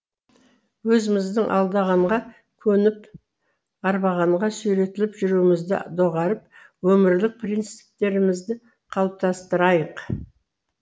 өзіміздің алдағанға көніп арбағанға сүйретіліп жүруімізді доғарып өмірлік принциптерімізді қалыптастырайық